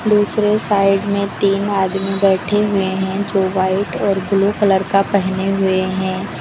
दूसरे साइड में तीन आदमी बैठे हुए हैं जो वाइट और ब्लू कलर का पहने हुए हैं।